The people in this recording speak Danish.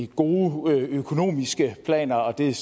gode økonomiske planer og det